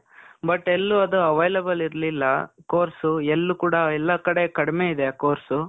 but, ಎಲ್ಲೂ ಅದು available ಇರ್ಲಿಲ್ಲ, course. ಎಲ್ಲೂ ಕೂಡ, ಎಲ್ಲ ಕಡೆ ಕಡ್ಮೆ ಇದೆ ಆ course.